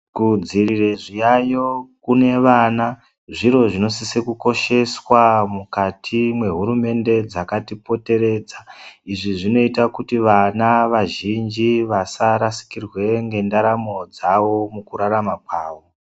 Kudzivirire zviyaiyo kune vana zviro zvinosise kukosheswa mukati mwehurumende dzakati poteredza izvi zvinoite kuti vana vazhinji vasarasikirwe ngendaramo dzavo mukurarama kwavo.